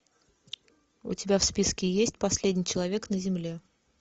у тебя в списке есть последний человек на земле